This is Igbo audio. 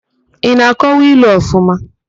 Ị na-akọwa ilu ọfụma?